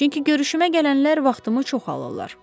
Çünki görüşümə gələnlər vaxtımı çox alırlar.